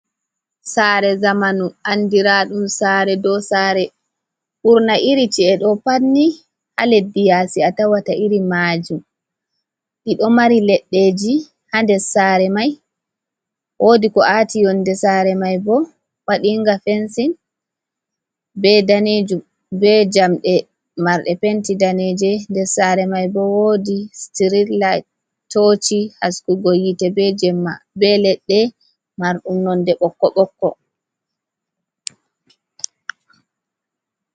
Sare zamanu andiraɗum sare dow sare ɓurna iri ci e ɗo pat ni ha leddi yasi a tawata iri majum ɗiɗo mari leɗɗeji ha nder sare mai, wodi ko aati yonde sare mai bo waɗinga fensin be danejum be jamɗe marɗe penti daneje nder sare mai bo wodi stirit lai toci haskugo hitte be leɗɗe marɗum nonde ɓokko ɓokko.